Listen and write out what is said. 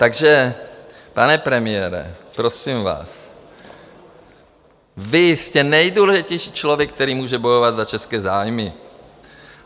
Takže, pane premiére, prosím vás, vy jste nejdůležitější člověk, který může bojovat za české zájmy.